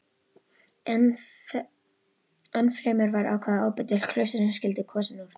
Ennfremur var ákveðið að ábóti klaustursins skyldi kosinn úr